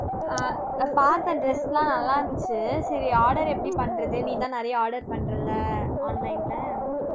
ஆஹ் அஹ் பார்த்தேன் dress எல்லாம் நல்லா இருந்துச்சு சரி order எப்படி பண்றது நீதான் நிறைய order பண்றேல்ல online ல